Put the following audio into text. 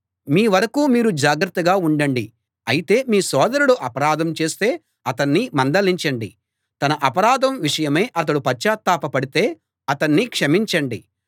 మీ వరకూ మీరు జాగ్రత్తగా ఉండండి అయితే మీ సోదరుడు అపరాధం చేస్తే అతణ్ణి మందలించండి తన అపరాధం విషయమై అతడు పశ్చాత్తాప పడితే అతణ్ణి క్షమించండి